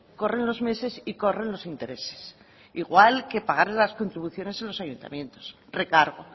corre los meses y corren los intereses igual que pagarle las contribuciones a los ayuntamientos recargo